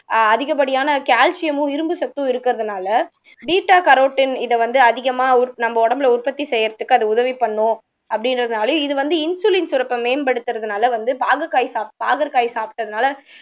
ஆஹ் அதிகப்படியான கேல்சியமும் இரும்பு சத்தும் இருக்கறதுனாலே பீட்டா கரோடின் இத வந்து அதிகமா உற் நம்ம உடம்புல உற்பத்தி செய்யறதுக்கு அது உதவி பண்ணும் அப்படின்றதுனாலயும் இது வந்து இன்சுலின் சுரப்பை மேம்படுத்துறதுனால வந்து பாகற்காய் சாப் பாகற்காய் சாப்பிட்டதுனால